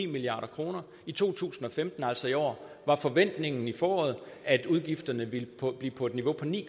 milliard kroner i to tusind og femten altså i år var forventningen i foråret at udgifterne ville blive på et niveau på ni